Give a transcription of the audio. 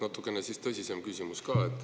Natukene tõsisem küsimus ka.